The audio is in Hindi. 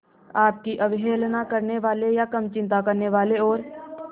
आपकी अवहेलना करने वाले या कम चिंता करने वाले और